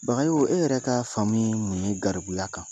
e yɛrɛ ka faamuyali ye garibuya kan?